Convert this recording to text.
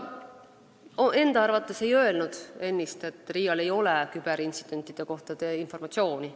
Ma enda arvates ei öelnud ennist, et RIA-l ei ole küberintsidentide kohta informatsiooni.